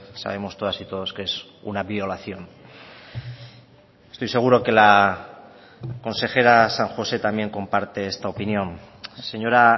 sabemos todas y todos que es una violación estoy seguro que la consejera san josé también comparte esta opinión señora